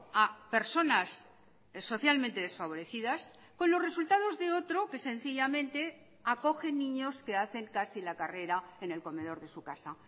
a personas socialmente desfavorecidas con los resultados de otro que sencillamente acoge niños que hacen casi la carrera en el comedor de su casa